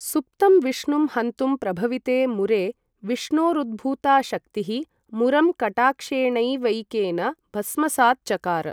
सुप्तं विष्णुं हन्तुं प्रभविते मुरे, विष्णोरुद्भूता शक्तिः, मुरं कटाक्षेणैवैकेन भस्मसात् चकार।